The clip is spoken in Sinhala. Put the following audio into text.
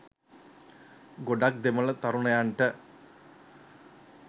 ගොඩක් දෙමළ තරුණයන්ට